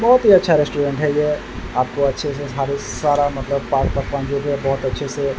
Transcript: बहुत ही अच्छा रेस्टुरेंट है ये। आपको अच्छे से सारे सारा मतलब पाक-पकवान जो भी है बहुत अच्छे से --